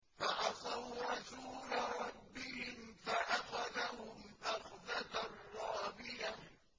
فَعَصَوْا رَسُولَ رَبِّهِمْ فَأَخَذَهُمْ أَخْذَةً رَّابِيَةً